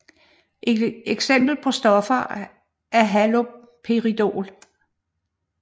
Et eksempel på stoffer er haloperidol